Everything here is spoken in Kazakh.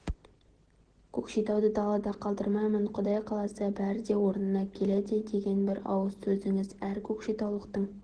көкшетауды далада қалдырмаймын құдай қаласа бәрі де орнына келеді деген бір ауыз сөзіңіз әр көкшетаулықтың